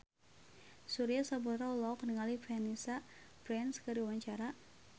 Surya Saputra olohok ningali Vanessa Branch keur diwawancara